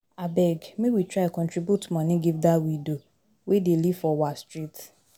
Abeg make we try contribute moni give dat widow wey dey live for we street.